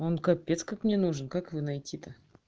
он капец как мне нужен как его найти то